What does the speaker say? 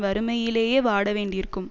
வறுமையிலேயே வாட வேண்டியிருக்கும்